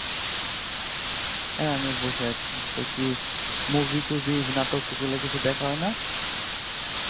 হ্যাঁ আমিও বসে আছি তো কি movie টুভি নাটক এগুলা দেখা হয়না